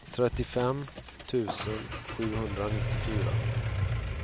trettiofem tusen sjuhundranittiofyra